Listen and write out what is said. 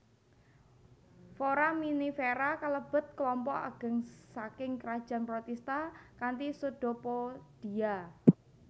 Foraminifera kalebet klompok ageng saking krajan protista kanthi pseudopodia